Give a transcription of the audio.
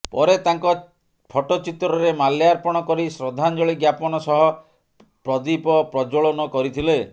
ପରେ ତାଙ୍କ ଫଟୋଚିତ୍ରରେ ମାଲ୍ୟାର୍ପଣ କରି ଶ୍ରଦ୍ଧାଞ୍ଜଳୀ ଜ୍ଞାପନ ସହ ପ୍ରଦୀପ ପ୍ରଜ୍ୱଳନ କରିଥିଲେ